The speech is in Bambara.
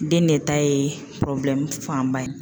Den ne ta ye fanba ye